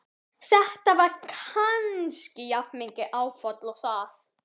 Þetta var kannski jafnmikið áfall og það.